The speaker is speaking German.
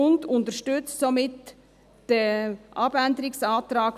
Sie unterstützt somit den Abänderungsantrag